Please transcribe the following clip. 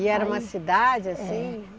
E era uma cidade assim?